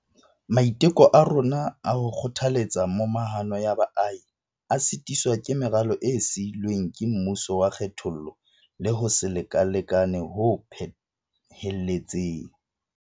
Maiteko a rona a ho kgothaletsa momahano ya baahi a sitiswa ke meralo e sii lweng ke mmuso wa kgethollo le ho se lekane ho phehelletseng.